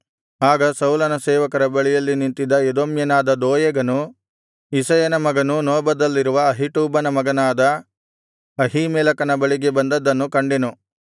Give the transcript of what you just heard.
ಆಗ ಸೌಲನ ಸೇವಕರ ಬಳಿಯಲ್ಲಿ ನಿಂತಿದ್ದ ಎದೋಮ್ಯನಾದ ದೋಯೇಗನು ಇಷಯನ ಮಗನು ನೋಬದಲ್ಲಿರುವ ಅಹೀಟೂಬನ ಮಗನಾದ ಅಹೀಮೆಲೆಕನ ಬಳಿಗೆ ಬಂದದ್ದನ್ನು ಕಂಡೆನು